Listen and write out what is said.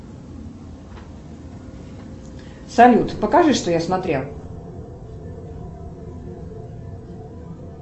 салют покажи что я смотрел